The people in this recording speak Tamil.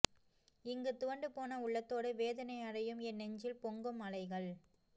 இங்கு துவண்டு போன உள்ளத்தோடு வேதனை அடையும் என் நெஞ்சில் பொங்கும் அலைகள்